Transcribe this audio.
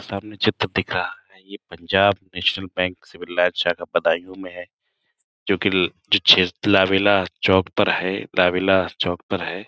सामने चित्र दिख रहा है ये पंजाब नेशनल बैंक से मिल रहा है। शाखा बदायूं में है जोकि चौक पर है। लावेला चौक पर है।